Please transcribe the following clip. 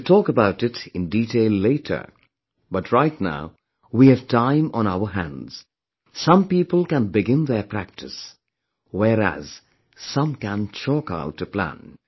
I shall talk about it in detail later, but right now we have time on our hands; some people can begin their practice, whereas some can chalk out a plan